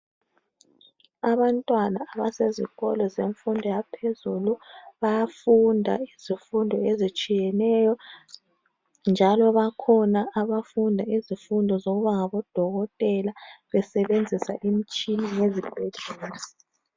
Abantwana abasezikolo zemfundio yaphezulu bayafunda izifundo ezitshiyeneyo njalo, bakhona abafunda izifundo zokuba ngabodokotela besebenzisa imitshina yezibhedlela.